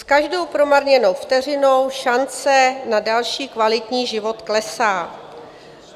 S každou promarněnou vteřinou šance na další kvalitní život klesá.